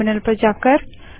terminal पर जाएँ